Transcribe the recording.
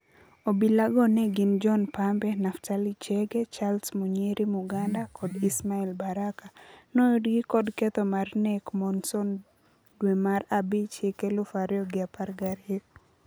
Obila go ne gin John Pambe, Naftali Chege, Charles Munyiri Muganda kod Ismael Baraka. Noyudgi kod ketho mar nek Monson dwe mar abich hik eluf ario gi apar gario.